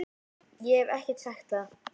Ég hef ekki sagt það!